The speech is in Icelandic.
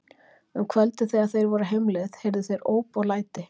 Um kvöldið þegar þeir voru á heimleið heyrðu þeir óp og læti.